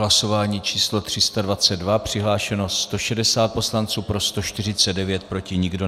Hlasování číslo 322, přihlášeno 160 poslanců, pro 149, proti nikdo.